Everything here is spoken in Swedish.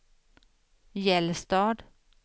Gällstad